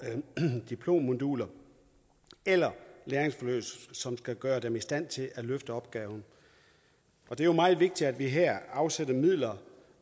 diplommoduler eller læringsforløb som skal gøre dem i stand til at løfte opgaven det er jo meget vigtigt at vi her afsætter midler